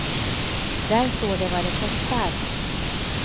Där står det vad det kostar.